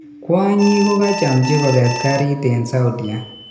Kwanyik kokachamchi koket garit en saudia